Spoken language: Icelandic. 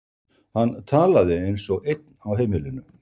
Hann talaði eins og einn á heimilinu.